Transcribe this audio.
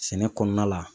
Sɛnɛ kɔnɔna la